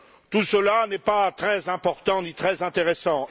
Tout cela n'est pas très important ni très intéressant.